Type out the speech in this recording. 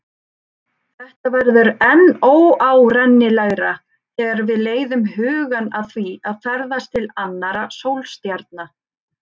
Þetta verður enn óárennilegra þegar við leiðum hugann að því að ferðast til annarra sólstjarna.